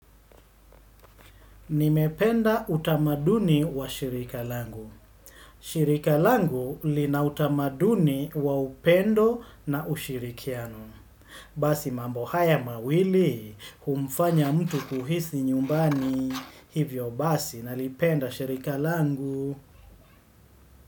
Nimependa utamaduni wa shirika langu. Shirika langu li na utamaduni wa upendo na ushirikiano. Basi mambo haya mawili, humfanya mtu kuhisi nyumbani. Hivyo basi, nalipenda shirika langu.